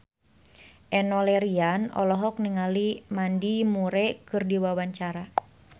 Enno Lerian olohok ningali Mandy Moore keur diwawancara